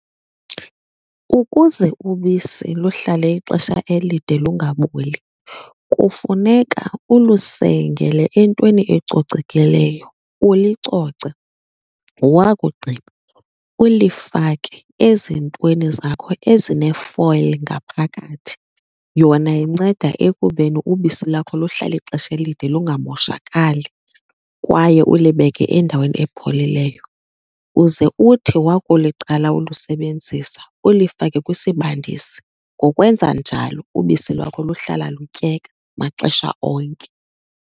Ukuze ubisi luhlale ixesha elide lungaboli kufuneka ulusengele entweni ecocekileyo, ulicoce. Wakugqiba ulifake ezintweni zakho ezinefoyili ngaphakathi, yona inceda ekubeni ubisi lakho luhlale ixesha elide lungamoshakali kwaye ulibeke endaweni epholileyo. Uze uthi wakuliqala ulusebenzisa ulifake kwisibandisi. Ngokwenza njalo ubisi lwakho luhlala lutyeka maxesha onke.